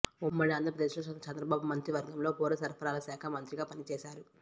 ఉమ్మడి ఆంధ్రప్రదేశ్లో చంద్రబాబు మంత్రి వర్గంలో పౌర సరఫరాల శాఖ మంత్రిగా పని చేశా రు